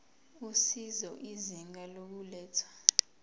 usizo izinga lokulethwa